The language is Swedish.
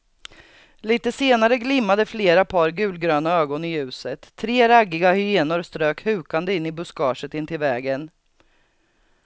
Litet senare glimmade flera par gulgröna ögon i ljuset, tre raggiga hyenor strök hukande in i buskaget intill vägen.